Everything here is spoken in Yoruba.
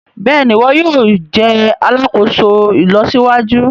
Béèni iwọ yóò jé alàkóso ìlọsíwájú.